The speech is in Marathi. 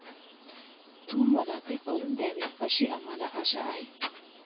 तू मला ते करू द्यावे अशी आम्हाला आशा आहे.